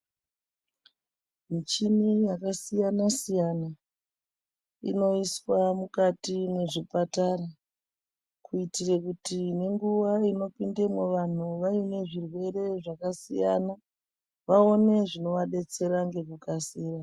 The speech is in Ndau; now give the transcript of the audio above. Mishini yakasiyana-siyana inoiswa mukati mezvipatara kuitira kuti munguva inopindemo vantu vaine zvirwere zvakasiyana vaone zvinovadetsera ngekukasira.